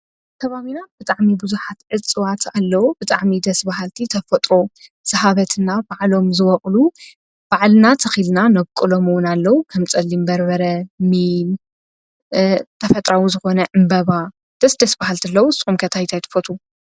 ኣብ ኪባቢና ብጥዕሚ ብዙኃት ዕፅዋት ኣለዉ። ብጣዕሚ ደሥ ብሃልቲ ተፈጥሮ ዝሃበትና ባዕሎም ዝበቕሉ ባዕልና ተኺልና ነብቆሎምውን ኣለዉ ኸም ጸሊምበርበረ ሚ ተፈጥራዊ ዘኾነ እምበባ ደስ ደስ ብሃልቲለዉ ዝጽምከት ዓይነት ትፈቱው?